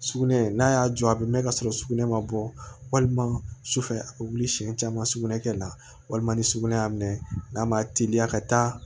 Sugunɛ n'a y'a jɔ a bɛ mɛɛn ka sɔrɔ sugunɛ ma bɔ walima sufɛ a bɛ wuli siɲɛ caman sugunɛ kɛ la walima ni sugunɛ y'a minɛ n'a ma teliya ka taa